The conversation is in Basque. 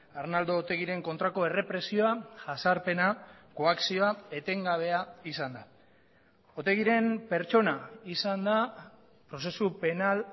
arnaldo otegiren kontrako errepresioa jasarpena koakzioa etengabea izan da otegiren pertsona izan da prozesu penal